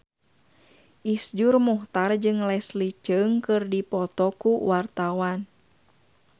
Iszur Muchtar jeung Leslie Cheung keur dipoto ku wartawan